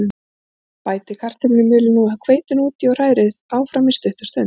Bætið kartöflumjölinu og hveitinu út í og hrærið áfram stutta stund.